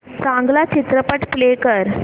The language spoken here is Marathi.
चांगला चित्रपट प्ले कर